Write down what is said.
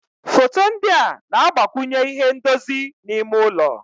Foto ndị a na-agbakwunye ihe ndozi n'ime ụlọ.